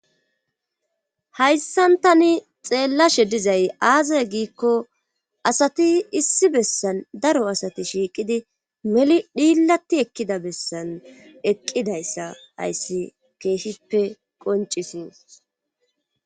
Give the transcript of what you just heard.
Hayssantani xeellashe dizay aazay giikko asati issi bessan daro asati shiiqidi meli dhiilatti ekkida bessan eqqidayssa hayssi keeshippe qoncisi.